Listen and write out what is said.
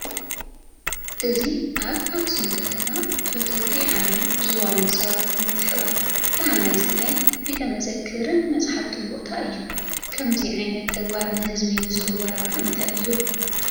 እዚ ኣብ ኣኽሱም ከተማ ብፈተውቲ ዓዶም ዝኾኑ ሰባት ምትሕብባር ዝተሃነፀ ናይ ቤተ መዘክርን መፃሕፍትን ቦታ እዩ፡፡ ከምዚ ዓይነት ተግባር ንህዝቢ ዝህቦ ረብሓ እንታይ እዩ?